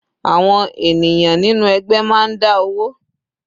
Àwọn ènìyàn nínú ẹgbẹ́ máa ń dá owó.